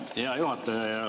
Hea juhataja!